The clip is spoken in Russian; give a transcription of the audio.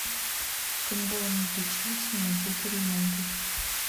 футбол между челси и манчестер юнайтед